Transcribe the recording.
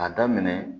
A daminɛ